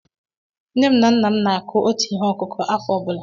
Nne m na nna m na-akụ otu ihe ọkụkụ̀ afọ ọ bụla.